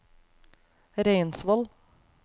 Reinsvoll